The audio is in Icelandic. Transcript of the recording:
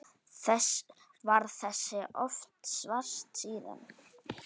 Varð þess oft vart síðan.